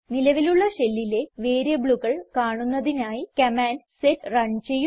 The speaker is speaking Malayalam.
നിലവിലുള്ള ഷെല്ലിലെ വേരിയബിളുകൾ കാണുന്നതിനായി കമാൻഡ് സെറ്റ് റൺ ചെയ്യുന്നു